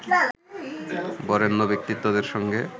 বরেণ্য ব্যক্তিত্বদের সঙ্গে